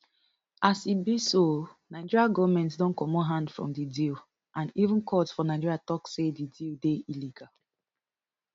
as e be so nigeria goment don comot hand from di deal and even court for nigeria tok say di deal dey illegal